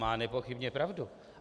Má nepochybně pravdu.